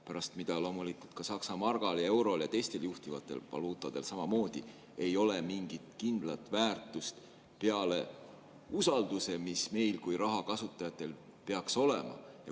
Pärast seda loomulikult ka Saksa margal ja eurol ja teistel juhtivatel valuutadel samamoodi ei ole mingit kindlat väärtust peale usalduse, mis meil kui raha kasutajatel peaks olema.